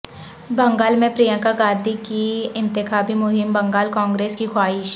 بنگال میں پرینکا گاندھی کی انتخابی مہم بنگال کانگریس کی خواہش